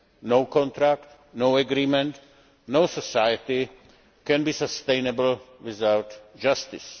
No contract, no agreement, no society can be sustainable without justice.